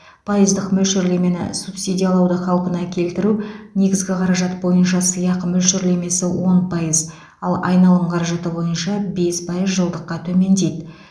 пайыздық мөлшерлемені субсидиялауды қалпына келтіру негізгі қаражат бойынша сыйақы мөлшерлемесі он пайыз ал айналым қаражаты бойынша бес пайыз жылдыққа төмендейді